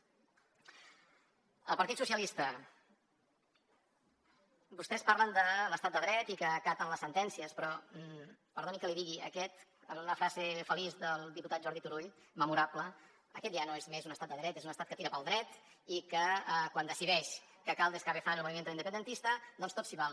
al partit dels socialistes vostès parlen de l’estat de dret i que acaten les sentències però perdoni que li digui amb una frase feliç del diputat jordi turull memorable aquest ja no és més un estat de dret és un estat que tira pel dret i que quan decideix que cal descabezar el movimiento independentista doncs tot s’hi val